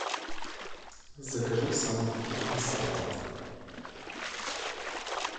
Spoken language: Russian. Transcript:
закажи самый вкусный салат